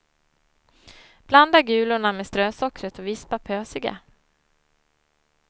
Blanda gulorna med strösockret och vispa pösiga.